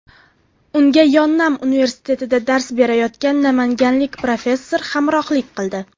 Unga Yonnam universitetida dars berayotgan namanganlik professor hamrohlik qildi.